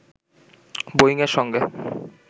বোয়িং-এর সঙ্গে